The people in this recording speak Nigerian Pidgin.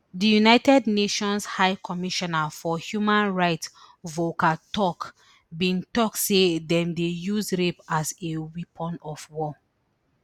di united nations high commissioner for human rights volker turk bin tok say dem dey use rape as a weapon of war